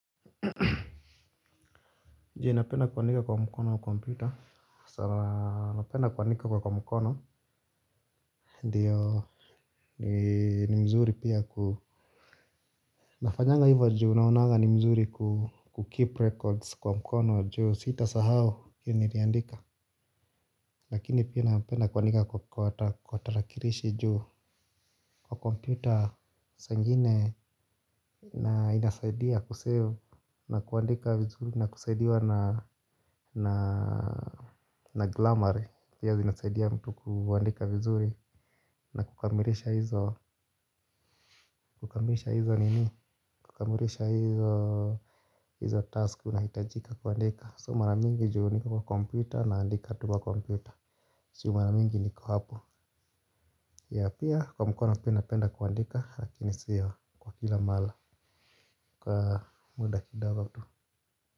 Je napenda kuandika kwa mkono wa komputer sana napenda kuandika kwa mkono ndiyo ni mzuri pia ku nafanyanga hivo juu naonanga ni mzuri ku keep records kwa mkono juu sita sahau kini niandika lakini pia napenda kuandika kwa tarakilishi juu kwa computer saa ingine na inasaidia kuseo na kuandika mzuri na kusaidia na na na glamour pia zinasaidia mtu kuandika vizuri na kukamilisha hizo kukamilisha hizo nini kukamilisha hizo hizo task unahitajika kuandika so maramingi juu niko kwa computer naandika tu kwa computer si maramingi niko hapo ya pia kwa mkono penda penda kuandika lakini sio kwa kila mala kwa muda kidogo tu.